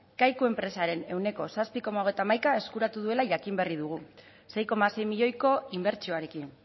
kaiku enpresaren ehuneko zazpi koma hogeita hamaika eskuratu duela jakin berri dugu sei koma sei milioiko inbertsioarekin